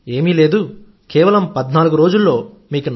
ఏం లేదు కేవలం 14 రోజుల్లో మీకు